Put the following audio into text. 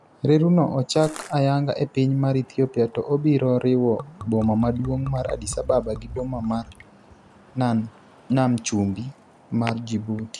Reru no ochak ayanga e piny mar Ethiopia to obiro riwo boma maduong' mar Addis Ababa gi boma mar nan chumbi mar Djibouti.